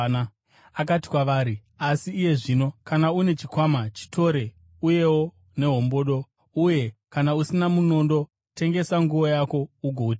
Akati kwavari, “Asi iye zvino kana une chikwama, chitore, uyewo nehombodo; uye kana usina munondo, tengesa nguo yako ugoutenga.